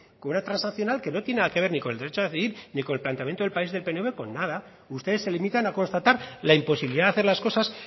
con una transaccional que no tiene nada que ver ni con el derecho a decidir ni con el planteamiento del país del pnv con nada ustedes se limitan a constatar la imposibilidad de hacer las cosas